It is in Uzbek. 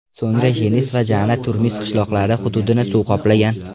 So‘ngra Jenis va Jana Turmis qishloqlari hududini suv qoplagan.